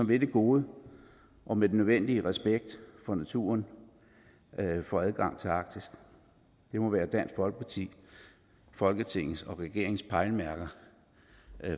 vil det gode og med den nødvendige respekt for naturen får adgang til arktis det må være dansk folkepartis folketingets og regeringens pejlemærker